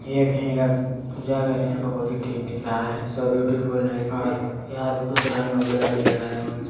ये कही का पूजा घर है बहुत ही ठीक दिख रहा है शो ब्यूटीफुल नाइस यहाँ पे कुछ रंग वगैरह भी लगाए हुए है।